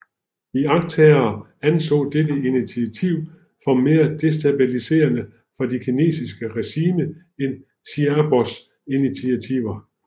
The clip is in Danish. Iagttagere anså dette initiativ for mere destabiliserende for de kinesiske regime end Xiaobos initiativer